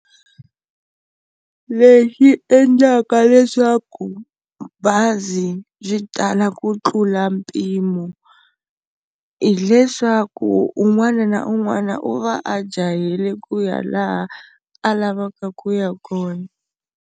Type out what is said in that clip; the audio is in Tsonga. Lexi endlaka leswaku bazi yi tala ku tlula mpimo hileswaku un'wana na un'wana u va a jahele ku ya laha a lavaka ku ya kona.